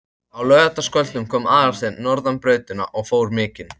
Á laugardagskvöldum kom Aðalsteinn norðan brautina og fór mikinn.